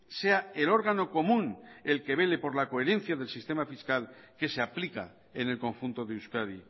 sea el órgano común el que vele por la coherencia del sistema fiscal que se aplica en el conjunto de euskadi